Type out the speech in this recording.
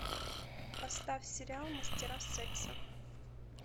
поставь сериал мастера секса